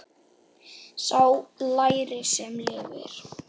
Sá lærir sem lifir.